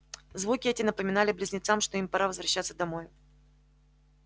звуки эти напомнили близнецам что им пора возвращаться домой